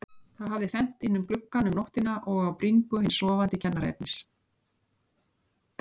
Það hafði fennt inn um gluggann um nóttina og á bringu hins sofandi kennaraefnis.